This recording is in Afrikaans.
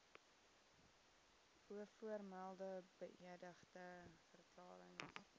bovermelde beëdigde verklarings